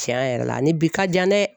Can yɛrɛ la a ni bi ka jan dɛ